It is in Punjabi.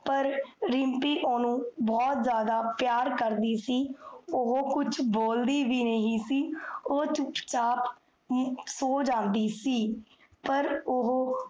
ਪਰ ਰਿਮ੍ਪੀ ਓਨੁ, ਬੋਹੋਤ ਜਾਦਾ ਪਿਆਰ ਕਰਦੀ ਸੀ ਓਹੋ ਕੁਛ ਬੋਲਦੀ ਵੀ ਨਹੀ ਸੀ ਓਹ ਚੁਪ ਚਾਪ ਸੋ ਜਾਂਦੀ ਸੀ ਪਰ ਓਹੋ